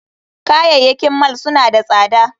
Kayayyakin mall suna tsada